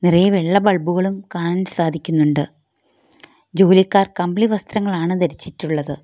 കുറേ വെള്ള ബൾബ് കളും കാണാൻ സാധിക്കുന്നുണ്ട് ജോലിക്കാർ കമ്പിളി വസ്ത്രങ്ങളാണ് ധരിച്ചിട്ടുള്ളത്.